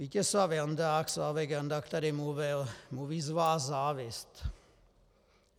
Vítězslav Jandák, Slávek Jandák tady mluvil: "Mluví z vás závist."